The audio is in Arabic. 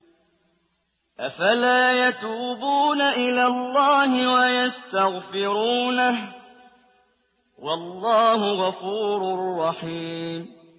أَفَلَا يَتُوبُونَ إِلَى اللَّهِ وَيَسْتَغْفِرُونَهُ ۚ وَاللَّهُ غَفُورٌ رَّحِيمٌ